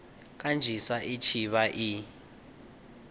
kanzhisa i tshi vha i